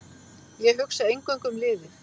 Ég hugsa eingöngu um liðið.